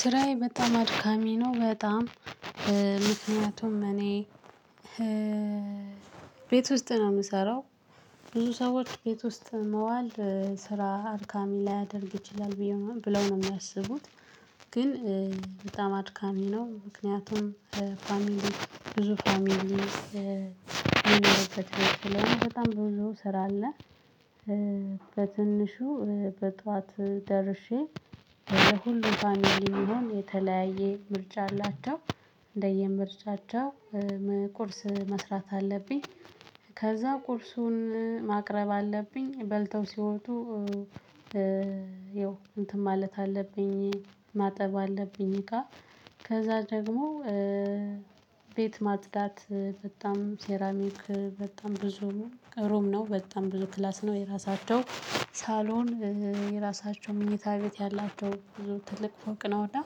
ስራዬ በጣም አድካሚ ነው። በጣም ምክንያቱም እኔ ቤት ውስጥ ነው የምሰራው ብዙ ሰዎች ቤት ውስጥ መዋል ስራ አድካሚ ላይ ያደርግ ይችላል ብዬ ነው ብለው ነው የሚያስቡት። ግን በጣም አድካሚ ነው። ምክንያቱም ፋሚሊ ብዙ ፋሚሊ የሚለውበት ስራ በጣም ብዙ ስራ አለ። በትንሹ በጧት ደርሼ ወደ ሁሉ ፋሚሊ የሚሆን የተለያየ ምርጫ አላቸው። እንደየምርጫቸው ቁርስ መስራት አለብኝ። ከዛ ቁርሱን ማቅረብ አለብኝ በልተው ሲወጡ። ያው እንትን ማለት አለብኝ ማጠብ አለብኝ። እቃ ከዛ ደግሞ ቤት ማጽዳት በጣም ሴራሚክ በጣም ብዙ ሩም ነው በጣም ብዙ ክላስ ነው የራሳቸው ሳሎን የራሳቸው ምኝታ ቤት ያላቸው ትልቅ ፎቅ ነውና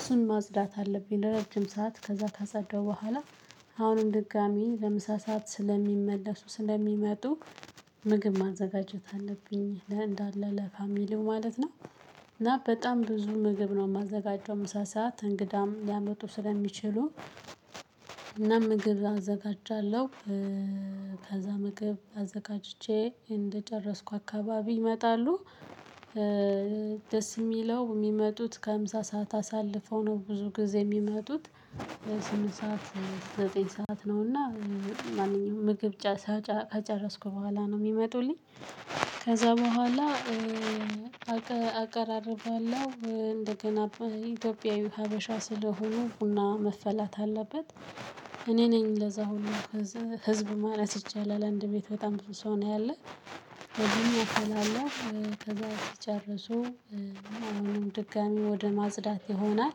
እሱን ማጽዳት አለብኝ። ለረጅም ሰዓት ከዛ ካጸዳው በኋላ አሁንም ድጋሚ ለምሳ ሰዓት ስለሚመለሱ ስለሚመጡ ምግብ ማዘጋጀት አለብኝ ለእንዳለ ለፋሚሊው ማለት ነው። እና በጣም ብዙ ምግብ ነው የማዘጋጀው ምሳ ስዓት እንግዳም ሊያመጡ ስለሚችሉ እና ምግብ አዘጋጃለሁ። ከዛ ምግብ አዘጋጅቼ እንደጨረስኩ አካባቢ ይመጣሉ። ደስ የሚለው የሚመጡት ከምሳ ሰዓት አሳልፈው ነው ብዙ ጊዜ የሚመጡት። ስምንት ሰዓት ዘጠኝ ሰዓት ነውና ማንኛውም ምግብ ከጨረስኩ በኋላ ነው የሚመጡልኝ። ከዛ በኋላ አቀራርባለሁ እንደገና ኢትዮጵያዊ ሀበሻ ስለሆኑ ቡና መፈላት አለበት። እኔ ነኝ ለዛ ሁሉ ህዝብ ማለት ይቻላል አንድ ቤት በጣም ብዙ ሰው ነው ያለው ደግሞ አፈላለሁ ከዛ ስጨርሱ አሁንም ድጋሚ ወደ ማጽዳት ይሆናል።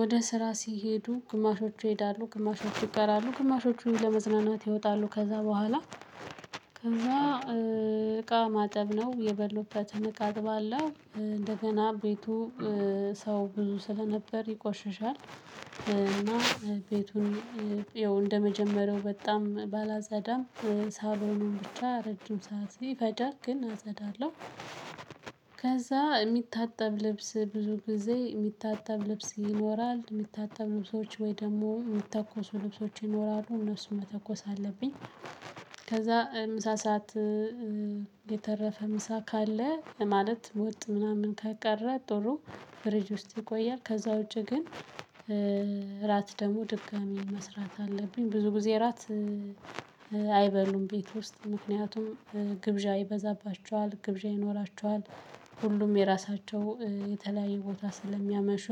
ወደ ስራ ሲሄዱ ግማሾቹ ይሄዳሉ ግማሾቹ ይቀራሉ ግማሾቹን ለመዝናናት ይወጣሉ ከዛ በኋላ ከዛ እቃ ማጠብ ነው የበሉበትን እቃ አጥባለሁ እንደገና ቤቱ ሰው ብዙ ስለነበር ይቆሽሻል እና ቤቱን እንደመጀመሪያው በጣም ባላጸዳም ሳሎኑን ብቻ ረጅም ስዓት ይፈጃል ግን አጸዳለሁ። ከዛ የሚታጠብ ልብስ ብዙ ጊዜ የሚታጠብ ልብስ ይኖራል የሚታጠብ ልብሶች ወይ ደግሞ የሚተኮሱ ልብሶች ይኖራሉ እነሱን መተኮስ አለብኝ። ከዛ ምሳ ሰዓት የተረፈ ምሳ ካለ ማለት ወጥ ምናምን ከቀረ ጥሩ ፍርጅ ውስጥ ይቆያል። ከዛ ውጪ ግን እራት ደግሞ ድጋሚ መስራት አለብኝ ብዙ ጊዜ እራት አይበሉም ቤት ውስጥ ምክንያቱም ግብዣ ይበዛባቸዋል ግብዣ ይኖራቸዋል። ሁሉም የራሳቸው የተለያየ ቦታ ስለሚያመሹ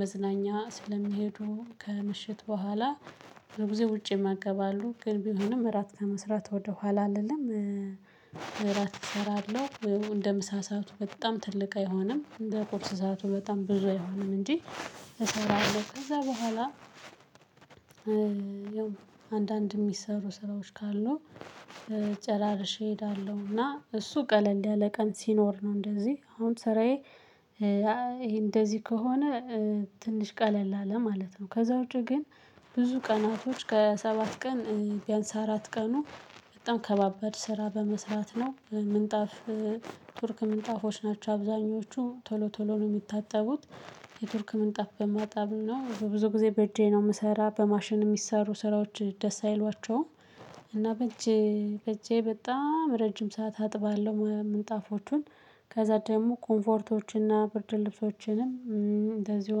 መዝናኛ ስለሚሄዱ ከምሽት በኋላ በጊዜ ውጪ የመገባሉ ግን ቢሆንም እራት ከመስራት ወደ ኋላ አልልም እራት እሰራለሁ። እንደ ምሳ ሰዓቱ በጣም ትልቅ አይሆንም እንደ ቁርስ ሰዓቱ በጣም ብዙ አይሆንም እንጂ። እሰራለሁ ከዛ በኋላ ያው አንዳንድ የሚሰሩ ስራዎች ካሉ ጨራርሼ እሄዳለሁና እሱ ቀለል ያለ ቀን ሲኖር ነው እንደዚህ አሁን ስራዬ ይሄ እንደዚህ ከሆነ ትንሽ ቀለል አለ ማለት ነው። ከዛ ውጪ ግን ብዙ ቀናቶች ከሰባት ቀን ቢያንስ አራት ቀኑ በጣም ከባበድ ስራ በመስራት ነው። ምንጣፍ ቱርክ ምንጣፎች ናቸው አብዛኞቹ ቶሎ ቶሎ ነው የሚታጠቡት። የቱርክ ምንጣፍ በማጣብ ነው በብዙ ጊዜ በእጄ ነው የምሰራ በማሽን የሚሰሩ ስራዎች ደስ አይሏቸውም። እና በጄ በጄ በጣም ረጅም ሰዓት አጥባለሁ ምንጣፎቹን ከዛ ደግሞ ኮምፎርቶችንና ብርድ ልብሶችንም እንደዚሁ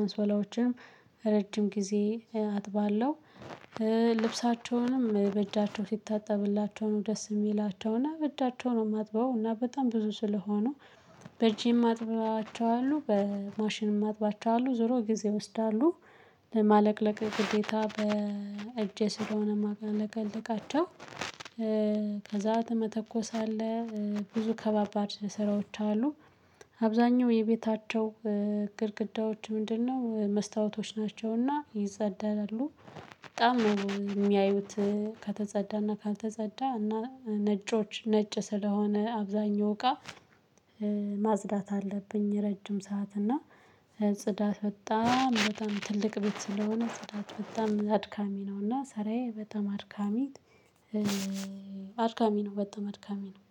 አንሶላዎችንም ረጅም ጊዜ አጥባለሁ። ልብሳቸውንም በእጃቸው ሲታጠብላቸው ነው ደስ የሚላቸውና በእጃቸው ነው የማጥበው እና በጣም ብዙ ስለሆኑ። በጂም አጥባቸዋለው በማሽንም አጥባቸዋለውአሉ ዞሮ ጊዜ ይወስዳሉ። ለማለቅለቅ ግዴታ በእጄ ስለሆነ ማለቀልቃቸው። ከዛ መተኮስ አለ። ብዙ ከባባድ ስራዎች አሉ። አብዛኛው የቤታቸው ግድግዳዎች ምንድነው መስታወቶች ናቸውና ይጸዳሉ። በጣም ነው የሚያዩት። ከተጸዳና ካልተጸዳ እና ነጮች ነጭ ስለሆነ አብዛኛው እቃ ማጽዳት አለብኝ። ረጅም ሰዓት እና ጽዳት በጣም በጣም ትልቅ ቤት ስለሆነ ስዳት በጣም አድካሚ ነው እና ሰራዬ በጣም አድካሚ። አድካሚ ነው በጣም አድካሚ ነው።